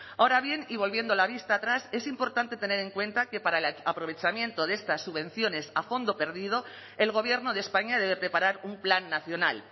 ahora bien y volviendo la vista atrás es importante tener en cuenta que para el aprovechamiento de estas subvenciones a fondo perdido el gobierno de españa debe preparar un plan nacional